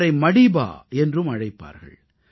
அவரை மடீபா என்றும் அழைப்பார்கள்